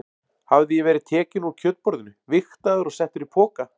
Hafði ég verið tekinn úr kjötborðinu, vigtaður og settur í poka?